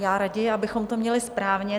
Já raději abychom to měli správně.